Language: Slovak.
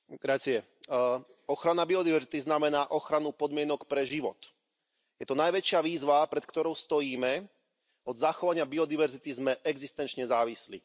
Vážený pán predsedajúci, ochrana biodiverzity znamená ochranu podmienok pre život. Je to najväčšia výzva, pred ktorou stojíme, od zachovania biodiverzity sme existenčne závislí.